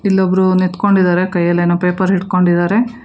ಇಲ್ಲೊಬ್ರು ನಿಂತ್ಕೊಂಡಿದಾರೆ ಕೈಯಲ್ಲೇನೋ ಪೇಪರ್ ಹಿಂಡ್ಕೊಂಡಿದಾರೆ.